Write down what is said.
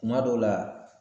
Kuma dɔw la